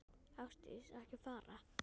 Ásdís, ekki fara.